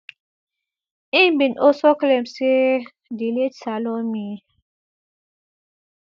im bin also claim say di late salome